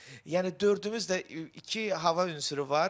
Yəni dördümüzdə iki hava ünsürü var.